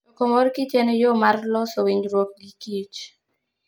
Choko mor kich en yo mar loso winjruok gi kich.